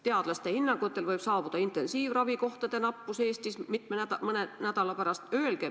Teadlaste hinnangutel võib saabuda intensiivravikohtade nappus Eestis mõne nädala pärast.